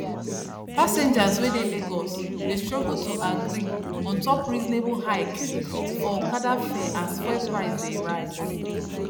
passengers wey dey lagos dey struggle to agree untop reasonable hike for okada fare as fuel price dey rise